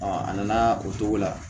a nana o cogo la